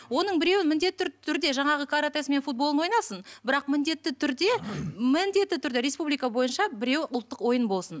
оның біреуін міндетті түрде жаңағы каратэсы мен футболын ойнасын бірақ міндетті түрде міндетті түрде республика бойынша біреуі ұлттық ойын болсын